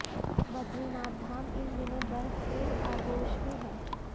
बदरीनाथ धाम इन दिनों बर्फ के आगोश में है